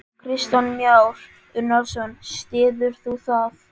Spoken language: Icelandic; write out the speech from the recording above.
Kristján Már Unnarsson: Styður þú það?